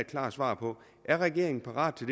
klart svar på er regeringen parat til